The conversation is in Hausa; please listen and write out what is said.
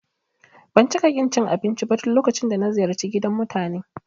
Ban cika ƙin cin abinci ba duk lokacin da ziyarci gidan mutane